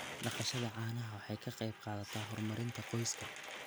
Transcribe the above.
Dhaqashada caanaha waxay ka qayb qaadataa horumarinta qoyska.